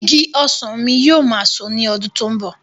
Igi ọsàn mi yóò máa so ní ọdún tó ń bọ̀.